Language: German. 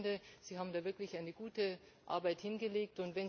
Ich finde, Sie haben da wirklich eine gute Arbeit hingelegt.